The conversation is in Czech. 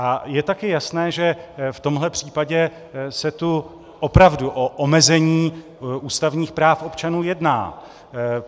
A je také jasné, že v tomhle případě se tu opravdu o omezení ústavních práv občanů jedná.